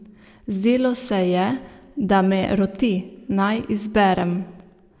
Zdelo se je, da me roti, naj izberem.